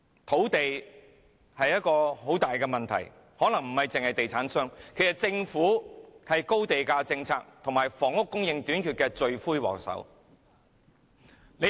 土地是一個很大的問題，可能不單是地產商，其實政府也是高地價政策和房屋供應短缺的罪魁禍首。